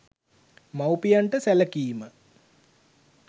මව්පියන්ට සැලකීම